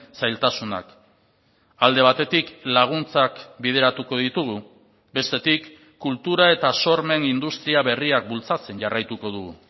zailtasunak alde batetik laguntzak bideratuko ditugu bestetik kultura eta sormen industria berriak bultzatzen jarraituko dugu